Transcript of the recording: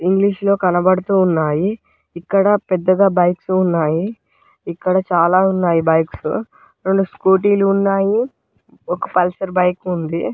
English లో కనబడుతు ఉన్నాయి ఇక్కడ పెద్దగా బైక్స్ ఉన్నాయి ఇక్కడ చాలా ఉన్నాయి బైక్స్ రెండు స్కూటీ లు ఉన్నాయి ఒక పల్సర్ బైక్ ఉంది.